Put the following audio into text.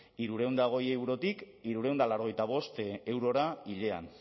hirurehun eta hogei eurotik hirurehun eta laurogeita bost eurora hilean